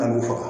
A b'u faga